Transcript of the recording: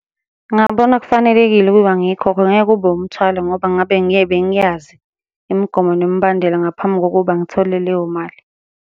Ngingabona kufanelekile ukuba ngiyikhokhe, ngeke kube umthwalo ngoba ngabe bengiyazi imigomo nemibandela ngaphambi kokuba ngithole leyo mali.